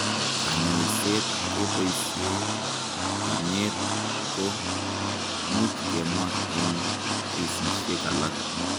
Kanyoiset keboishe enyet ko much kemwa eng' kesishek alak.